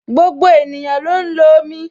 Gbogbo ènìyàn ló ń lo omi